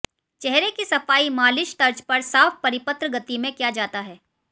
चेहरे की सफाई मालिश तर्ज पर साफ परिपत्र गति में किया जाता है